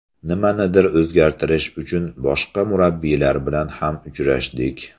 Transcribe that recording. Nimanidir o‘zgartirish uchun boshqa murabbiylar bilan ham uchrashdik.